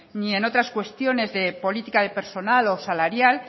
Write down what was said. ni en otras cuestiones de política de personal o salarial